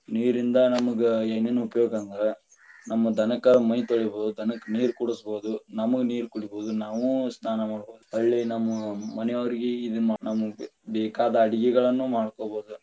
ನೀರಿಂದ ನಮಗ ಏನೇನ ಉಪಯೋಗ ಅಂದ್ರ, ನಮ್ಮ ದನಕರ ಮೈ ತೊಳಿಬಹುದು, ನಮ್ಮ ದನಕ್ಕ ನೀರ ಕುಡಿಸ್ ಬಹುದು ನಮಗ ನೀರ್ ಕುಡಿಬೋದು ನಾವು ಸ್ನಾನಾ ಮಾಡಬಹುದು, ಹೊಳ್ಳಿ ನಮ್ಮ ಮನಿಯವರಿಗೆ ಬೇಕಾದ ಅಡಗಿಗಳನ್ನ ಮಾಡ್ಕೊಬಹುದು.